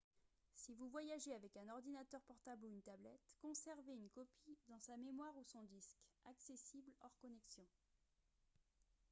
si vous voyagez avec un ordinateur portable ou une tablette conservez une copie dans sa mémoire ou son disque accessibles hors connexion